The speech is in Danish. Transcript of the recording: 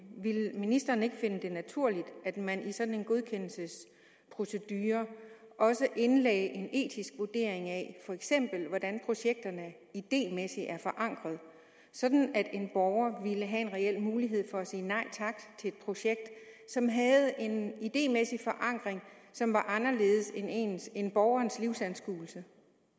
ville ministeren så ikke finde det naturligt at man i sådan en godkendelsesprocedure også indlagde en etisk vurdering af for eksempel hvordan projekterne idémæssigt var forankret sådan at en borger ville have en reel mulighed for at sige nej tak til et projekt som havde en idémæssig forankring som var anderledes end borgerens livsanskuelse